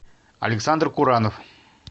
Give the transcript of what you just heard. александр куранов